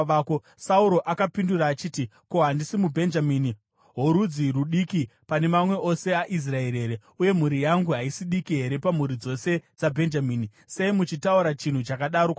Sauro akapindura achiti, “Ko, handisi muBhenjamini, worudzi rudiki pane mamwe ose aIsraeri here, uye mhuri yangu haisi diki here pamhuri dzose dzaBhenjamini? Sei muchitaura chinhu chakadaro kwandiri?”